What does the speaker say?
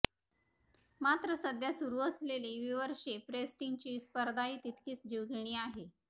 मात्र सध्या सुरू असलेली व्यूव्हरशिप रेटिंग्सची स्पर्धाही तितकीच जीवघेणी आहे